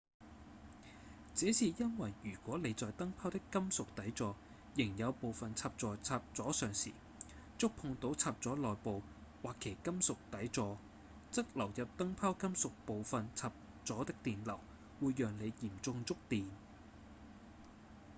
這是因為如果您在燈泡的金屬底座仍有部份插在插座上時觸碰到插座內部或其金屬底座則流入燈泡金屬部份插座的電流會讓您嚴重觸電